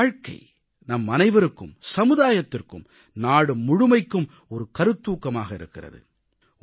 அவரது வாழ்க்கை நம் அனைவருக்கும் சமுதாயத்திற்கும் நாடு முழுமைக்கும் ஒரு கருத்தாக்கமாக இருக்கிறது